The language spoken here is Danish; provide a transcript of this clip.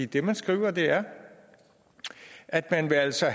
det man skriver er at man altså